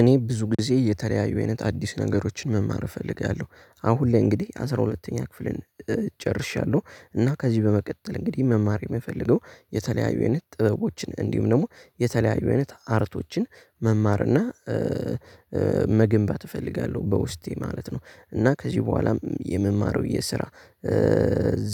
እኔ ብዙ ጊዜ እየተለያዩ አይነት አዲስ ነገሮችን መማር እፈልጋለሁ። አሁን ላይ እንግዲህ አስራ ሁለተኛ ክፍልን። እና ከዚህ በመቀጠል እንግዲህ መማር የምፈልገው የተለያዩ አይነት ጥበቦችን እንዲሁም ደግሞ የተለያዩ አይነት አርቶችን መማር እና መገንባት እፈልጋለሁ በውስጤ ማለት ነው። እና ከዚህ በኋላም የምማረው የስራ